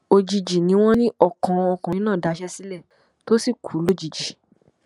òjijì ni wọn ní ọkàn ọkùnrin náà daṣẹ sílẹ tó sì kú lójijì